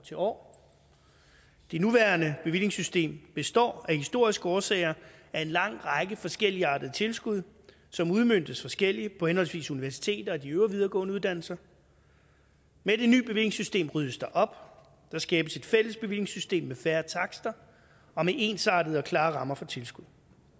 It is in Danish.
til år det nuværende bevillingssystem består af historiske årsager af en lang række forskelligartede tilskud som udmøntes forskelligt på henholdsvis universiteter og de videregående uddannelser med det nye bevillingssystem ryddes der op der skabes et fælles bevillingssystem med færre takster og med ensartede og klare rammer for tilskud